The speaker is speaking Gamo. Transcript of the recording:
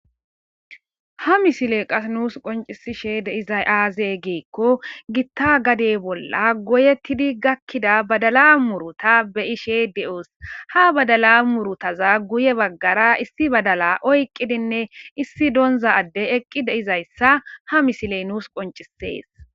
Ha misile qas nuus qoncisishe deizay aaze giikko gitta gadey bolla goyettidi gakkida badala muruta beyishe de'os ha badala murutaza guye baggara issi badala oyqqidinne issi donza adde eqqi deizayssa ha misiley nuus qoncisees